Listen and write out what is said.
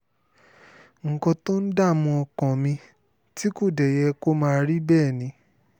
nǹkan tó ń dààmú ọkàn mi tí kò dé yẹ kó máa rí bẹ́ẹ̀ ni